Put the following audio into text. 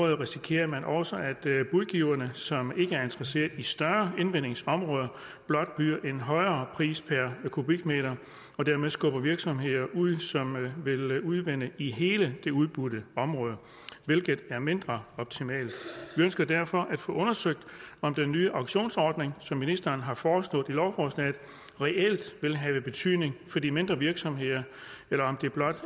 risikerer man også at budgiverne som ikke er interesseret i større invindingsområder blot byder en højere pris per kubikmeter og dermed skubber virksomheder ud som vil udvinde i hele det udbudte område hvilket er mindre optimalt vi ønsker derfor at få undersøgt om den nye auktionsordning som ministeren har foreslået i lovforslaget reelt vil have betydning for de mindre virksomheder eller om det blot